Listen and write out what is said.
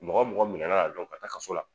Mɔgɔ mɔgɔ minɛna la dɔron ka taa ka so la.